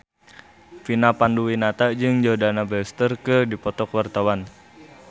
Vina Panduwinata jeung Jordana Brewster keur dipoto ku wartawan